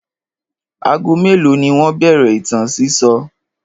Ago mélòó ni wọ́n bẹ̀rẹ̀ ìtàn sísọ?